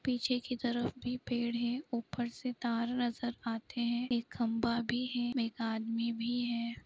पीछे की तरफ भी पेड़ है ऊपर से तार नजर आते है एक खम्भा भी है एक आदमी भी है।